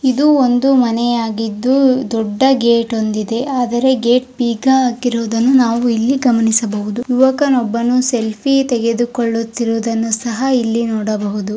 ಇದು ಒಂದು ಮನೆಯಾಗಿದ್ದು ದೊಡ್ಡ ಗೇಟ್ ಒಂದಿದೆ ಆದರೆ ಗೇಟ್ ಬೀಗ ಹಾಕಿ ಇರುವುದು ನಾವು ಇಲ್ಲಿ ಗಮನಿಸಬಹುದು ಯುವಕನೊಬ್ಬನು ಸೆಲ್ಫಿ ತೆಗೆದುಕೊಳ್ಳುತ್ತಿರುವುದನ್ನು ನಾವು ಇಲ್ಲಿ ನೋಡಬಹುದು .